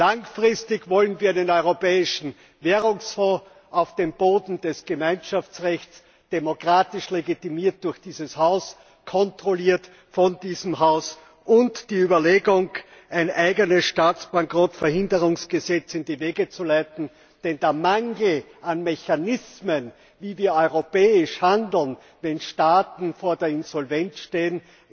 Langfristig wollen wir einen Europäischen Währungsfonds auf dem Boden des Gemeinschaftsrechts, demokratisch legitimiert durch dieses Haus, kontrolliert von diesem Haus, und die Überlegung, ein eigenes Staatsbankrottverhinderungs Gesetz in die Wege zu leiten, denn der Mangel an Mechanismen, wie europäisch zu handeln ist, wenn Staaten vor der Insolvenz